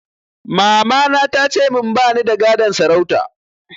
Mamana ta ce min ba ni da gadon sarauta